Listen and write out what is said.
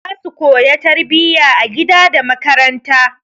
Za su koya tarbiyya a gida da makaranta.